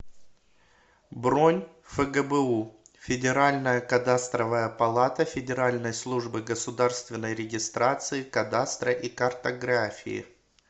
бронь фгбу федеральная кадастровая палата федеральной службы государственной регистрации кадастра и картографии